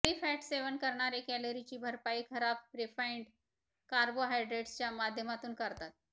कमी फॅट सेवन करणारे कॅलरीची भरपाई खराब रिफाइंड कार्बोहायड्रेट्सच्या माध्यमातून करतात